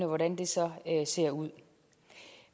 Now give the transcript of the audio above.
hvordan ser ser ud